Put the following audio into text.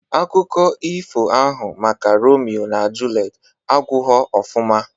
Akụkọ ifo ahụ maka Romio na Julet agwụghọ ofụma